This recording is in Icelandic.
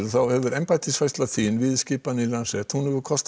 hefur embættisfærsla þín kostað